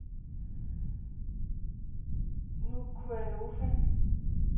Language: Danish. Nukualofa